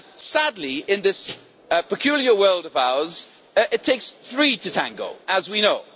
Sadly, in this peculiar world of ours, it takes three to tango, as we know.